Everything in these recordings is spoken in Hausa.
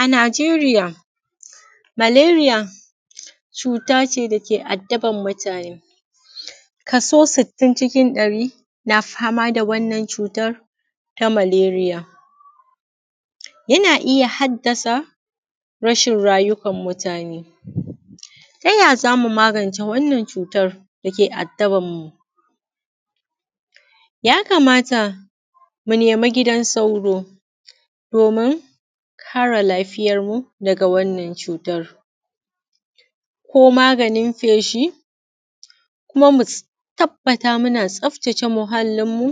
A Najeriya malariya cuta ce da ke addaban mutane kaso sittin cikin ɗari na fama da wannan cutar ta malariya. Yana iya haddasa rashin rayukan mutane. Ta ya zamu magance wannan cutan da ke addaban mu? Ya kamata mu nema gidan sauro, domin kare lafiyar mu daga wannan cutan, ko maganin feshi, kuma mu tabbata muna tsaftace muhallin mu,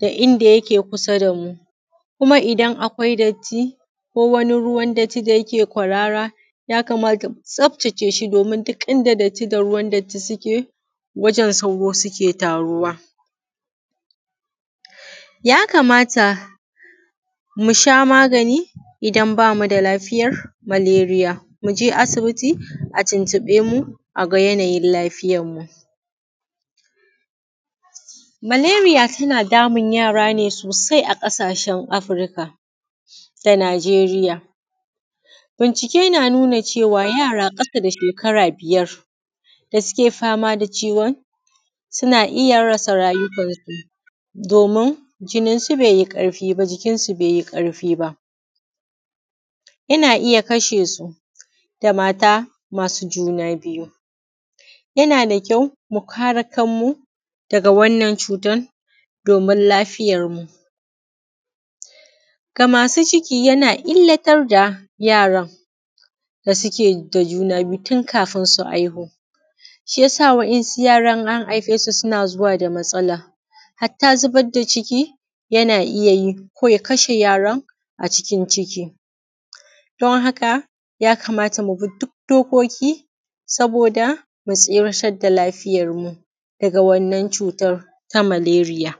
da inda yake kusa da mu, kuma idan akwai datti ko wani ruwan datti da yake kwarara, ya kamata mu tsaftace shi domin duk inda datti da ruwan datti suke wajan sauro suke taruwa. Ya kamata mu sha magani idan ba mu da lafiyar malariya mu je asibiti a tuntuɓe mu a ga yanayin lafiyar mu. Malariya tana damun yara ne sosai a ƙasashen Afurika da Najeriya. Bincike na nuna cewa yara ƙasa da shekara biyar da suke fama da ciwon suna iya rasa rayukan su domin jinin su bai yi ƙarfi ba, jikinsu bai yi ƙarfi ba yana iya kashe su, da mata masu juna biyu yana da kyau mu kare kan mu daga wannan cutan domin lafiyar mu. Ga masu ciki yana illatar da yaran da suke da juna biyu tun kafin su haihu. Shi yasa wa’insu yaran in an haife su suna zuwa da matsala, hatta zubar da ciki yana iya yi ko ya kashe yaran a cikin ciki, don haka ya kamata mu bi duk dokoki saboda mu tsiratar da lafiyar mu daga wannan cutar ta malariya.